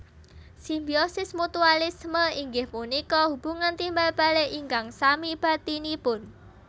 Simbiosis Mutualisme inggih punika hubungan timbalbalik ingkang sami bathinipun